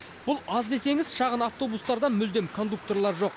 бұл аз десеңіз шағын автобустарда мүлдем кондукторлар жоқ